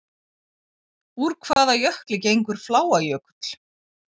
Úr hvaða jökli gengur Fláajökull?